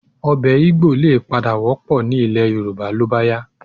Ọbẹ̀ Igbò lè padà wọ́pọ̀ ní ilẹ̀ Yorùbá ló bá yá